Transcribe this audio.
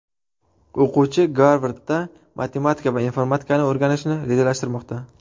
O‘quvchi Garvardda matematika va informatikani o‘rganishni rejalashtirmoqda.